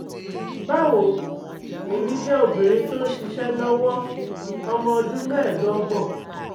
Bawo, Emi jẹ obinrin ti nṣiṣe lọwọ ọmọ ọdun meedogbon